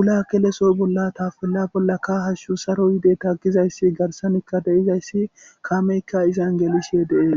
wula keleso bolla tafella bollaka hashshu saro yide taggizayssi garsanikka deizayssi kameykka izan gelishe de'ees